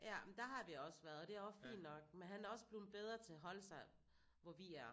Ja men der har vi også været og det er også fint nok men han er også blevet bedre til at holde sig hvor vi er